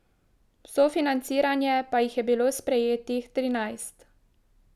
V sofinanciranje pa jih je bilo sprejetih trinajst.